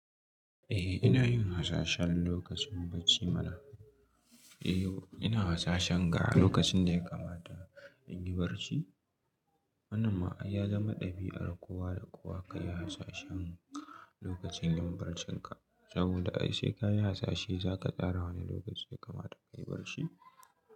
Eh ina yin hasashen lokacin barci mana. Eh yo ina hasashen inga lokacin da ya kamata in yi barci. Wannan ma ai ya zama ɗabi'ar kowa da kowa ka yi hasashen lokacin yin barcinka saboda ai sai ka yi hasashe za ka tsara wane lokaci ya kamata ka yi barci.